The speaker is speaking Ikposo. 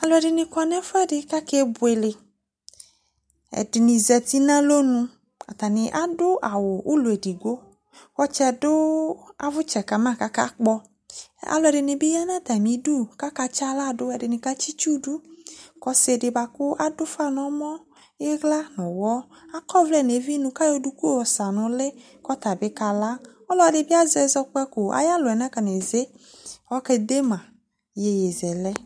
Alu ɛdini kɔ nu ɛfuɛ di ku akebuele ɛdini zati nu alɔnu atani adu awu ulɔ edigbo ɔtsɛ dʊ avʊtsɛ kama kakpɔ alu ɛdini bi yanu atami du kaka tsi aɣla du ɛdini katsi itsu du ku ɔsidi bi kadu ufa nu ɔmɔ ni iɣla ayɔ duku yowu nu uli kɔtabi kala ɔlɔdi bi azɛ sɔgɔ ayɔ alu yɛ na kɔneze kɔke de ma yeye zɛlɛ